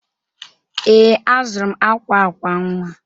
Ee, azụrụ m akwa akwa nwa.